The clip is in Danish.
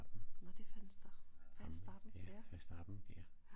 Nåh det er Vanstappen Verstappen